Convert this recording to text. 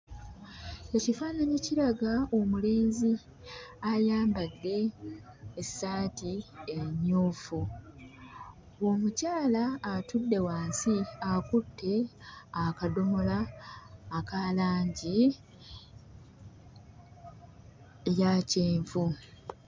Ekifaananyi kiraga omulenzi ayambadde essaati emmyufu. Omukyala atudde wansi akutte akadomola aka langi eya kyenvu.